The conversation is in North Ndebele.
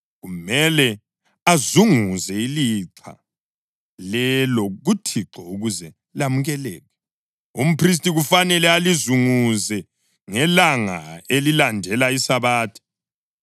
Kumele azunguze ilixha lelo kuThixo ukuze lamukeleke. Umphristi kufanele alizunguze ngelanga elilandela iSabatha.